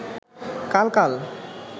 কাল কাল